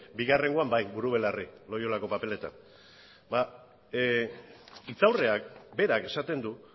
bigarrengoan bai buru belarri loiolako paperetan hitzaurreak berak esaten du